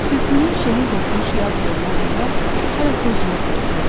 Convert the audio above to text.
Sübhünün şehi hopmuş yaz yollarında hələ toz yoxdur.